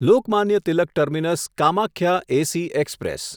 Lokmanya Tilak terminus Kamakhya AC express